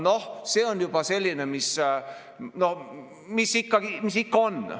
Noh, see on juba selline, mis ikka on.